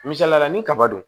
Misaliyala ni kaba don